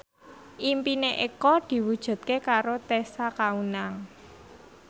impine Eko diwujudke karo Tessa Kaunang